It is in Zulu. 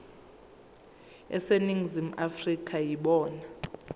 aseningizimu afrika yibona